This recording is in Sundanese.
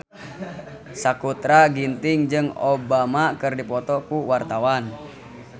Sakutra Ginting jeung Obama keur dipoto ku wartawan